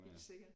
Helt sikkert